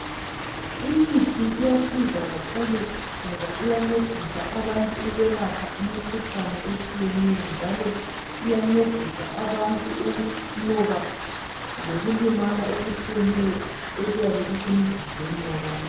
Imithi iyasiza kakhulu ngoba iyancedisa kakhulu abantu ukwelapha imkhuhlane etshiyeneyo, njalo iyancedisa ukunqoba lokulimala okutshiyeneyo okuyabe kusemizimbeni yabantu.